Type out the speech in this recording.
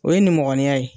O ye nin mɔgɔninya ye